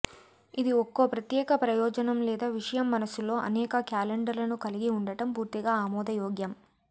ఇది ఒక్కో ప్రత్యేక ప్రయోజనం లేదా విషయం మనసులో అనేక క్యాలెండర్లను కలిగి ఉండటం పూర్తిగా ఆమోదయోగ్యం